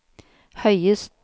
høyest